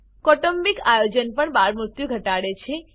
કૌટુંબિક આયોજન પણ બાળમૃત્યુ ઘટાડે છે